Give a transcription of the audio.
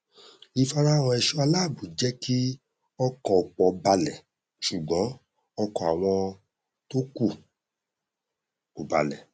ìfarahàn ẹṣọ aláàbò jẹ kí ọkàn ọpọ balẹ ṣùgbọn ọkàn àwọn tó kù ò balẹ